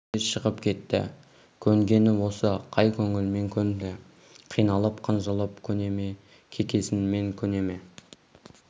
деді де шығып кетті көнгені осы қай көңілімен көнді қиналып қынжылып көне ме кекесінмен көне ме